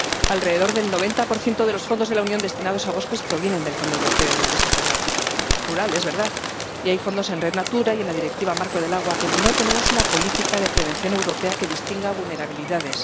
Alrededor del 90 de los fondos de la Unión destinados a bosques provienen del Fondo Europeo de Desarrollo Rural —es verdad— y hay fondos en Red Natura y en la Directiva marco del agua, pero no tenemos una política de prevención europea que distinga vulnerabilidades.